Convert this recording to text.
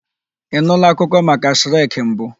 Ị nụụla akụkọ maka Shrek mbụ?